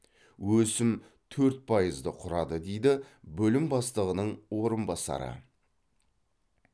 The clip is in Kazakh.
өсім төрт пайызды құрады дейді бөлім бастығының орынбасары